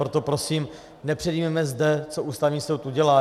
Proto prosím, nepředjímejme zde, co Ústavní soud udělá.